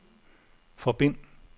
forbind